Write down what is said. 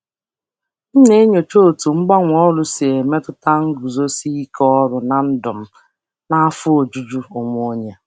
Ana um m elebara anya ka mgbanwe ọrụ si emetụta um nguzozi ọrụ na ndụ na afọ ojuju onwe m.